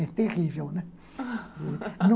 É terrível, né?